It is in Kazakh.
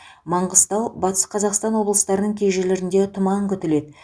манғыстау батыс қазақстан облыстарының кей жерлерінде тұман күтіледі